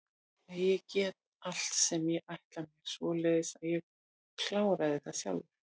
Nei en ég get allt sem ég ætla mér, svoleiðis að ég kláraði það sjálfur.